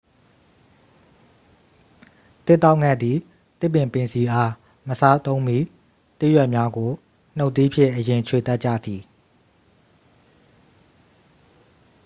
သစ်တောက်ဌက်သည် သစ်ပင်ပင်စည်အား မစားသုံးမီ သစ်ရွက်များကို နူတ်သီးဖြင့်အရင် ခြွေတတ်ကြသည်